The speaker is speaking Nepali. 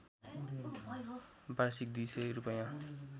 वार्षिक २०० रूपैयाँ